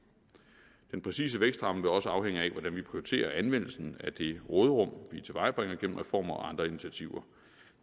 den præcise vækstramme vil også afhænge af hvordan vi prioriterer anvendelsen af det råderum vi tilvejebringer gennem reformer og andre initiativer